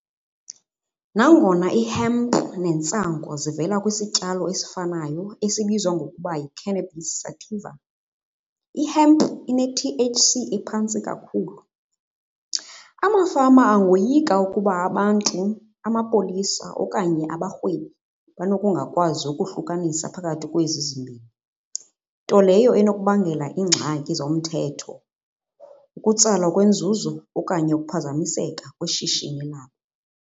Nangona i-hemp nentsangu zivela kwisityalo esifanayo esibizwa ngokuba yi-cannabis sativa i-hemp ine-T_H_C ephantsi kakhulu. Amafama angoyika ukuba abantu amapolisa okanye abarhwebi banokungakwazi ukohlukanisa phakathi kwezi zimbini. Nto leyo enokubangela iingxaki zomthetho, ukutsalwa kwenzuzo okanye ukuphazamiseka kwishishini labo.